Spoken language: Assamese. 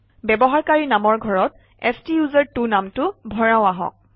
ব্যৱহাৰকাৰী নামৰ ঘৰত স্তোচেৰ্ত্ব নামটো ভৰাওঁ আহক